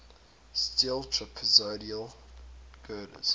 steel trapezoidal girders